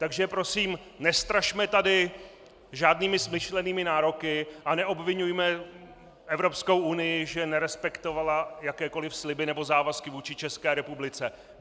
Takže prosím, nestrašme tady žádnými smyšlenými nároky a neobviňujme Evropskou unii, že nerespektovala jakékoli sliby nebo závazky vůči České republice.